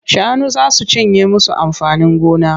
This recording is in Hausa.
Shanu za su cinye musu amfanin gona.